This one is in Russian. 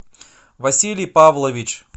василий павлович